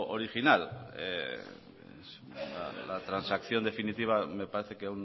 original la transacción definitiva me parece que